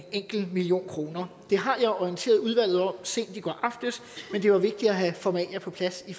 million kroner det har jeg orienteret udvalget om sent i går aftes men det er vigtigt at have formalia på plads i